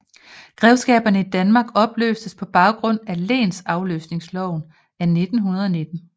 Grevskaberne i Danmark opløstes på baggrund af lensafløsningsloven af 1919